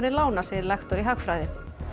lána segir lektor í hagfræði